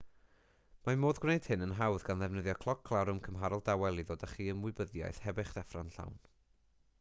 mae modd gwneud hyn yn hawdd gan ddefnyddio cloc larwm cymharol dawel i ddod â chi i ymwybyddiaeth heb eich deffro'n llawn